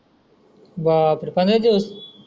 बापरे पंदरा दिवस